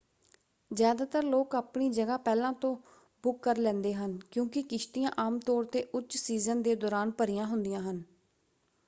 ਜ਼ਿਆਦਾਤਰ ਲੋਕ ਆਪਣੀ ਜਗ੍ਹਾ ਪਹਿਲਾਂ ਤੋਂ ਬੁੱਕ ਕਰ ਲੈਂਦੇ ਹਨ ਕਿਉਂਕਿ ਕਿਸ਼ਤੀਆਂ ਆਮ ਤੌਰ 'ਤੇ ਉੱਚ ਸੀਜ਼ਨ ਦੇ ਦੌਰਾਨ ਭਰੀਆਂ ਹੁੰਦੀਆਂ ਹਨ।